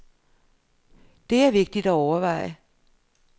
Det er vigtigt at overveje.